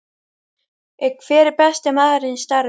Hver er besti maðurinn í starfið?